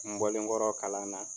N bɔlenkɔrɔ kalan na